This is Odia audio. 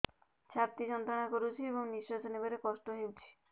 ଛାତି ଯନ୍ତ୍ରଣା କରୁଛି ଏବଂ ନିଶ୍ୱାସ ନେବାରେ କଷ୍ଟ ହେଉଛି